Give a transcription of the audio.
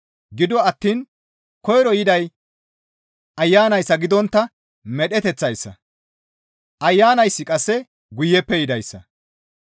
Gido attiin koyro yiday Ayanayssa gidontta medheteththayssa; Ayanayssi qasse guyeppe yidayssa.